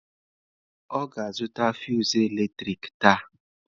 Ọ ga-azụta fụsụ eletrik taa.